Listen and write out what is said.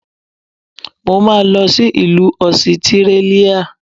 Mo máa lọ sí ìlú Ọsitírálíà.